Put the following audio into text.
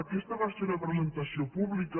aquesta va ser una presentació pública